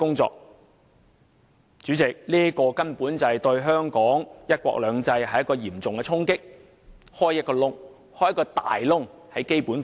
主席，這可說是對香港"一國兩制"的嚴重衝擊，並在《基本法》打開了一個大缺口。